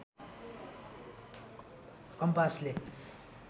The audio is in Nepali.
कम्पासले